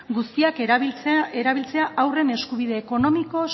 guztiak erabiltzea haurren eskubide ekonomiko